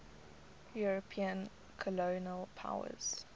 european colonial powers